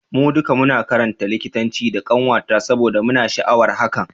Mu duka muna karatun likitanci da kanwata saboda muna da sha'awar hakan.